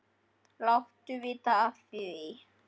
Láttu vita af því.